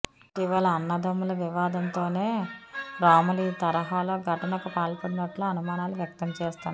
ఇటీ వల అన్నదమ్ముల వివాదంతోనే రాములు ఈ తర హాలో ఘటనకు పాల్పడినట్లు అనుమానాలు వ్యక్తం చేస్తున్నారు